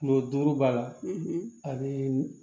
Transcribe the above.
Kulo duuru b'a la a bɛ